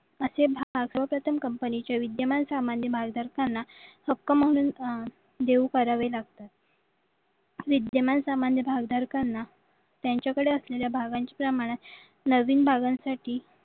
असे सर्वप्रथम कंपनीचे विद्येमान करताना हक्क म्हणून अह देऊ करावे लागतात विद्येमान सामान भाग त्यांच्याकडे असलेल्या भागांची प्रमानात नवीन भागांसाठी